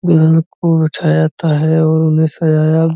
दुल्हन को बैठाया जाता है और उन्हे सजाया --